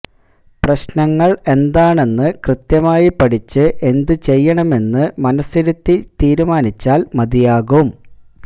പ്രശ്നങ്ങള് എന്താണെന്ന് കൃത്യമായി പഠിച്ച് എന്ത് ചെയ്യണമെന്ന് മനസ്സിരുത്തി തീരുമാനിച്ചാല് മതിയാകും